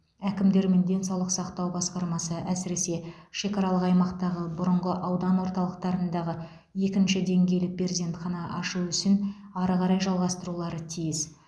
әкімдер мен денсаулық сақтау басқармасы әсіресе шекаралық аймақтағы бұрынғы аудан орталықтарында екінші деңгейлі перзентхана ашу ісін ары қарай жалғастырулары тиіс